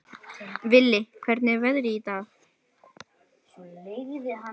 Vili, hvernig er veðrið í dag?